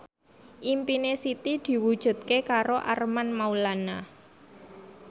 impine Siti diwujudke karo Armand Maulana